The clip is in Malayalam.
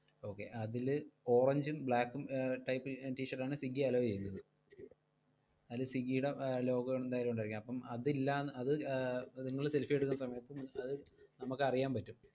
okay അതില് orange ഉം black ഉം ഏർ type t-shirt ആണ് സ്വിഗ്ഗി allow ചെയ്യുന്നത്. അതില് സ്വിഗ്ഗിയുടെ logo ഉണ്ടായതു കൊണ്ടായിരിക്കും, അപ്പം അതില്ലാന്ന് അത് ഏർ നിങ്ങൾ selfie എടുക്കുന്ന സമയത്ത് അത് നമ്മക്കറിയാൻ പറ്റും.